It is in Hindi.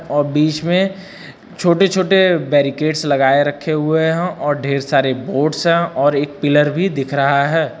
और बीच में छोटे छोटे बैरिकेट्स लगाए रखे हुए हैं और ढेर सारे बोर्ड्स हैं और एक पिलर भी दिख रहा है।